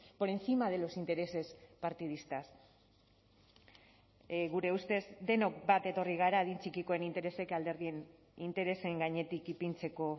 por encima de los intereses partidistas gure ustez denok bat etorri gara adin txikikoen interesek alderdien interesen gainetik ipintzeko